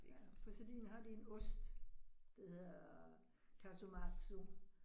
Ja, på Sardinien har de en ost, der hedder Casu Marzu